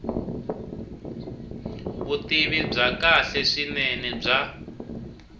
vutivi bya kahle swinene bya